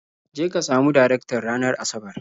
Je ka samu Darektan ranar Asabar.